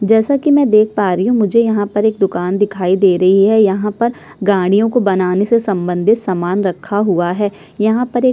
जैसा की मै देख पा रही हु मुझे यहाँ पर एक दूकान दिखाई दे रही है यहाँ पर गाड़ियों को बनाने से सम्बंधित सामान रखा हुआ है यहाँ पर एक --